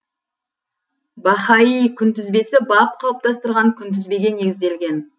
баһаи күнтізбесі баб қалыптастырған күнтізбеге негізделген